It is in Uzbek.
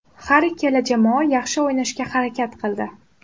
Har ikkala jamoa yaxshi o‘ynashga harakat qildi.